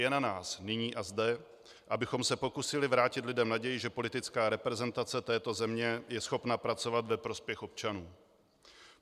Je na nás nyní a zde, abychom se pokusili vrátit lidem naději, že politická reprezentace této země je schopna pracovat ve prospěch občanů.